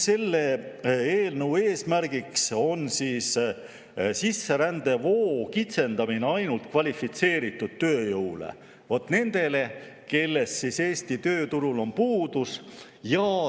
Selle eelnõu eesmärk on sisserändevoo kitsendamine ainult kvalifitseeritud tööjõule, nendele, kellest Eesti tööturul on puudus.